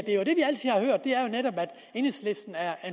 netop at enhedslisten er